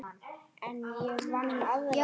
En ég vann aðra slagi.